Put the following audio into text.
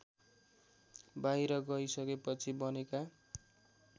बाहिर गइसकेपछि बनेका